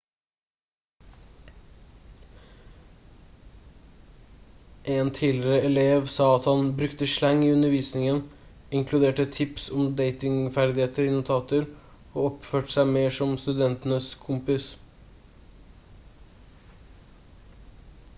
en tidligere elev sa at han «brukte slang i undervisningen inkluderte tips om datingferdigheter i notater og oppførte seg mer som studentenes kompis»